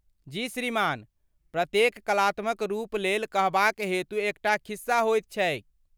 जी श्रीमान। प्रत्येक कलात्मक रूप लेल कहबाक हेतु एकटा खिस्सा होइत छैक।